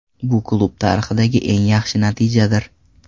Bu klub tarixidagi eng yaxshi natijadir.